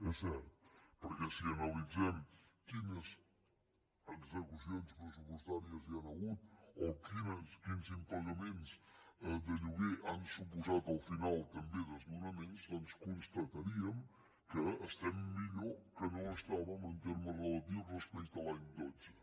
és cert perquè si analitzem quines execucions immobiliàries hi han hagut o quins impagaments de lloguer han suposat al final també desnonaments doncs constataríem que estem millor que no ho estàvem en termes relatius respecte a l’any dotze